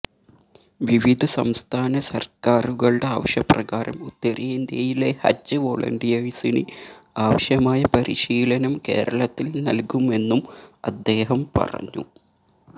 വിവിധ സംസ്ഥാന സര്ക്കാറുകളുടെ ആവശ്യപ്രകാരം ഉത്തരേന്ത്യയിലെ ഹജ്ജ് വൊളണ്ടിയേഴ്സിന് ആവശ്യമായ പരിശീലനം കേരളത്തില് നല്കുമെന്നും അദ്ദേഹം പറഞ്ഞു